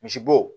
Misibo